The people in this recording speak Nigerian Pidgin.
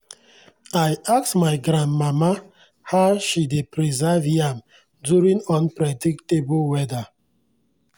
i ask my granmama how she dey preserve yam during unpredictable weather.